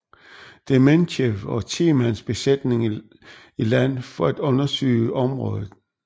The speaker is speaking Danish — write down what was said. Dementjev og 10 mands besætning i land for at undersøge området